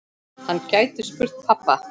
Hann gæti spurt pabba.